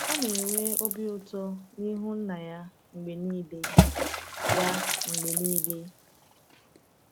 Ọ na-enwe obi ụtọ n’ihu Nna ya mgbe niile. ya mgbe niile.